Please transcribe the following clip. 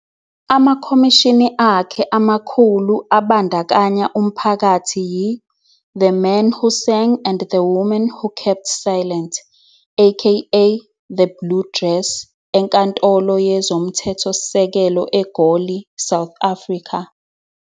Amakhomishini akhe amakhulu abandakanya umphakathi yi- "The Man Who Sang and The Woman Who Kept Silent" aka The Blue dress enkantolo yezomthethosisekelo eGoli, South Africa.